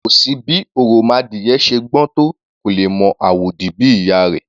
Kò sí bí òròmọadìyẹ ṣe gbọ́n tó, kò lè mọ àwòdì bí ìyá a rẹ̀. /